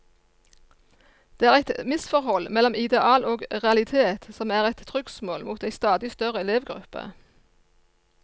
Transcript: Det er eit misforhold mellom ideal og realitet, som er eit trugsmål mot ei stadig større elevgruppe.